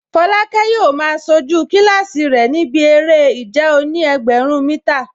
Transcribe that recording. Folake yóò máa sojú kílásì rẹ̀ níbi eré ìje òní-ẹgbẹ̀rún mítà